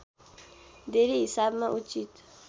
धेरै हिसाबमा उचित